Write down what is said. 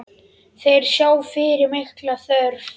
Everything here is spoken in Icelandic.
Þeir sjá fyrir mikla þörf.